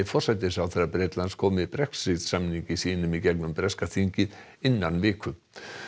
forsætisráðherra Bretlands komi Brexit samningi sínum í gegnum breska þingið innan viku